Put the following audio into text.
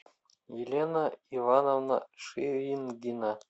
елена ивановна ширингина